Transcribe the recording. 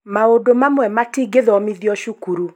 Maũndũ mamwe matingĩthomithio cukuru